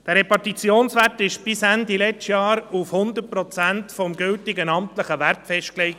Dieser Repartitionswert war bis Ende des letzten Jahres auf 100 Prozent des gültigen amtlichen Werts festgelegt.